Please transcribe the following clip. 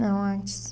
Não, antes.